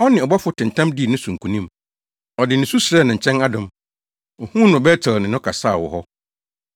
Ɔne ɔbɔfo tentam dii ne so nkonim; ɔde nusu srɛɛ ne nkyɛn adom. Ohuu no wɔ Bet-El ne no kasaa wɔ hɔ.